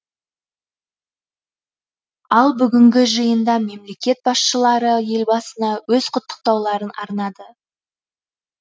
ал бүгінгі жиында мемлекет басшылары елбасына өз құттықтауларын арнады